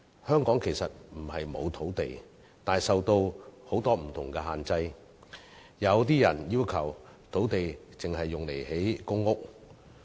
香港其實不是沒有土地，但土地運用受到很多不同的限制，有些人要求土地只用作興建公屋。